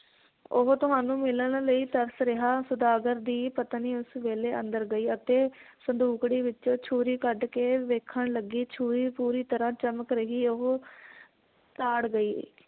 ਉਹ ਤੁਹਾਨੂੰ ਮਿਲਣ ਲਈ ਤਰਸ ਰਿਹਾ ਸੌਦਾਗਰ ਦੀ ਪਤਨੀ ਉਸ ਵੇਲੇ ਅੰਦਰ ਗਈ ਅਤੇ ਸੰਦੂਕੜੀ ਵਿਚੋਂ ਛੁਰੀ ਕੱਢ ਕੇ ਵੇਖਣ ਲੱਗੀ ਛੁਰੀ ਪੂਰੀ ਤਰਾਂ ਚਮਕ ਰਹੀ ਉਹ ਤਾੜ ਗਈ